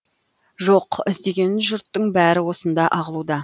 жоқ іздеген жұрттың бәрі осында ағылуда